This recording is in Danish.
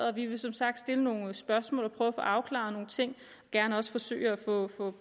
og vi vil som sagt stille nogle spørgsmål og prøve at få afklaret nogle ting og gerne også forsøge at få